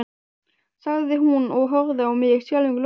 sagði hún og horfði á mig skelfingu lostin.